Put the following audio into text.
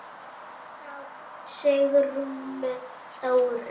Frá Sigrúnu Þóru.